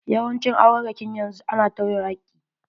Yawancin aurarrakin yanzu a na tawye hakki.